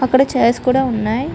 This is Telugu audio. అక్కడ చైర్స్ కూడా ఉన్నాయ్.